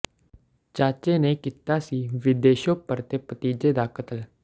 ਚਾਚੇ ਨੇ ਕੀਤਾ ਸੀ ਵਿਦੇਸ਼ੋਂ ਪਰਤੇ ਭਤੀਜੇ ਦਾ ਕਤਲ